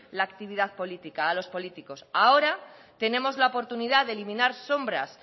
la actividad política a los políticos ahora tenemos la oportunidad de eliminar sombras